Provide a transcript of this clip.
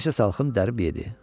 Bir neçə salxım dərib yedi.